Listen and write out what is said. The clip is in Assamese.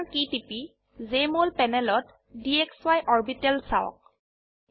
Enter কী টিপি জেএমঅল প্যানেলত ডিএক্সআই অৰবিটেল চাওক